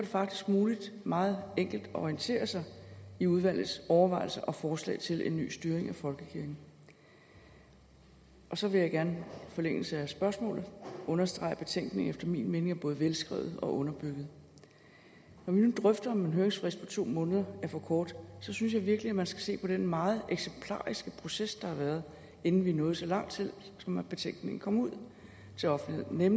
faktisk muligt meget enkelt at orientere sig i udvalgets overvejelser og forslag til en ny styring af folkekirken og så vil jeg gerne i forlængelse af spørgsmålet understrege at betænkningen efter min mening er både velskrevet og underbygget når vi nu drøfter om en høringsfrist på to måneder er for kort synes jeg virkelig man skal se på den meget eksemplariske proces der har været inden vi nåede så langt at betænkningen kom ud til offentligheden i